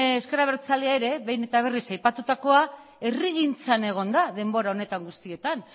ezker abertzalea ere behin eta berriz aipatutakoa herrigintzan egon da denbora honetan guztietan